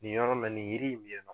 Nin yɔrɔ la nin yiri in bɛ yan.